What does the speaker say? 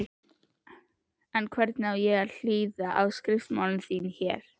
En hvernig á ég að hlýða á skriftamál þín. hér!